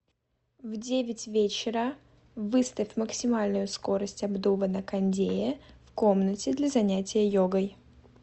в девять вечера выставь максимальную скорость обдува на кондее в комнате для занятия йогой